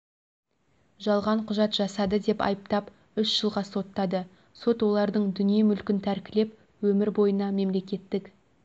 жалған құжат жасады деп айыптап үш жылға соттады сот олардың дүние-мүлкін тәркілеп өмір бойына мемлекттік